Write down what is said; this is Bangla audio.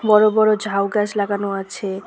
বড় বড় ঝাউগাছ লাগানো আছে।